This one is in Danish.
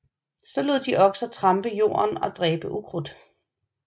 Så lod de okser trampe jorden og dræbe ukrudt